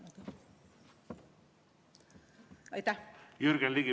Jürgen Ligi, palun!